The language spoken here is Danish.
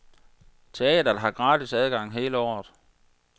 Teatret har gratis adgang hele året.